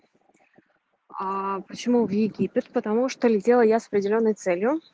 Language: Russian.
а почему в египет потому что летела я с определённой целью